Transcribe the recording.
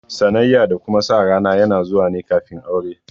Sanayya da kuma sa rana yana zuwa ne kafin aure